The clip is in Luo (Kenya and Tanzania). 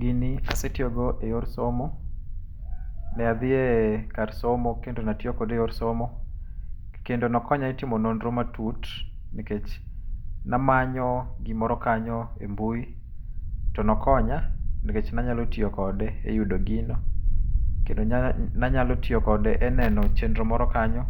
Gini asetiyo go eyor somo. Ne adhie kar somo kendo ne atiyo kode eyor somo, kendo nokonya etimo nonro matut nikech ne amanyo gimoro kanyo embui, to nokonya nikech ne anyalo tiyo kode e yudo gino, kendo ne anyalo tiyo kode e neno chenro moro kanyo.